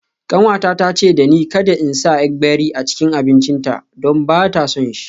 Kanwata ta ce da ni kada in sa gbegírí a cikin abincinta don ba ta son shi.